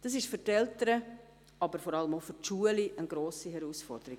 Das ist für die Eltern, aber vor allem auch für die Schulen eine grosse Herausforderung.